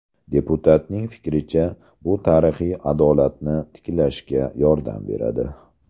Deputatning fikricha, bu tarixiy adolatni tiklashga yordam beradi.